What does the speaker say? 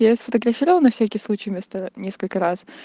я сфотографировала всякий случай место несколько раз